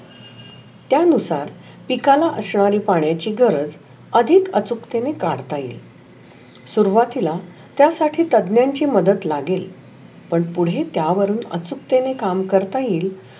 त्यानुसार पिकाला असणारे पाण्याची गरज अधिक अचूकतेने काढत येईल. सुरवतीला त्या साठी तज्ञांशी मदत लागेल. पण पुढे त्या वरुण अचुकतेने काम करता येइल.